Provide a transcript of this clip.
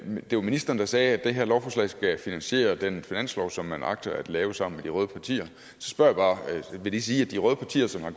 det var ministeren der sagde at det her lovforslag skal finansiere den finanslov som man agter at lave sammen med de røde partier så spørger jeg bare vil det sige at de røde partier som har